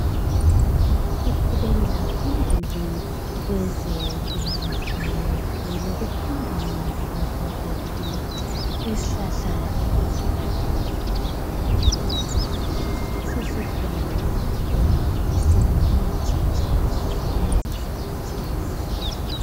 siqhubekela phambili kwezempilakahle lokufunda ngezihlahla zethu isihlahla ebesikade sigxubha ngabo khokho sesikhona singumuthi uyasisebenzisa usithenga esitolo